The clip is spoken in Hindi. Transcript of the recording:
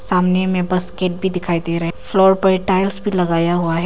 सामने में बास्केट भी दिखाई दे रहे है फ्लोर पर टाइल्स भी लगाया हुआ हैं।